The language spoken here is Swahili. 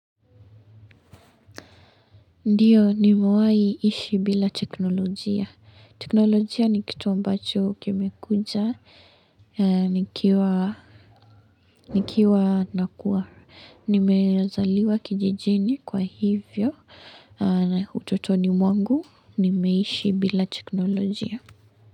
Ndio ni mawahi ishi bila teknolojia. Teknolojia ni kitu ambacho kimekuja. Nikiwa nakua. Nimezaliwa kijijini kwa hivyo na ututoni mwangu. Nimeishi bila teknolojia.